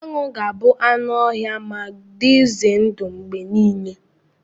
Anụ ga-abụ anụ ọhịa ma dị ize ndụ mgbe niile.